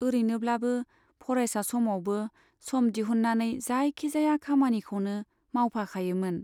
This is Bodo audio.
ओरैनोब्लाबो फरायसा समावबो सम दिहुननानै जायखि जाया खामानिखौनो मावफाखायोमोन।